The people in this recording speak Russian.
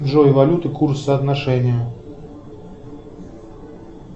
джой валюта курс соотношение